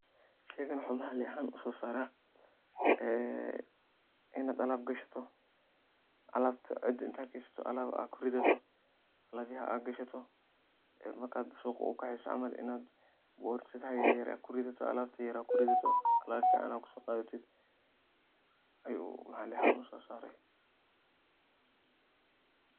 sheygab wuxuu maxali ahaan usoo saara ee inad alab gadashato, alabta cida intad gashato alab kuridato, alab yada ad gashato ee markad suuqa ukaceysoo camal inad borsadaha yaryar ad kuridato, alabta yaryar ad kuridato, alab fiican ad kuso qadatid ayuu maxali ahaan usoo saara